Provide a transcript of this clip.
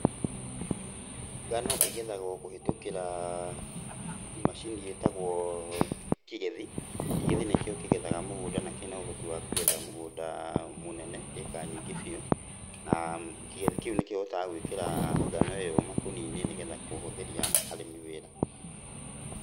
Ngano ĩgethagwo kũhĩtũkĩra macini ĩtagwo kĩgethi. Kĩgethi nĩkĩo kĩgethaga mũgũnda na kĩna ũhoti wa kũgetha mũgũnda mũnene ĩka nyingĩ biũ. Na kĩgethi kĩu nĩkĩhotaga gũĩkĩra ngano ĩyo makũnia-inĩ nĩgetha kũhũthĩria arĩmi wĩra.